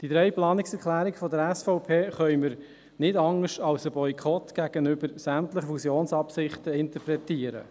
Die drei Planungserklärungen der SVP können wir nicht anders als Boykott gegenüber sämtlichen Fusionsabsichten interpretieren.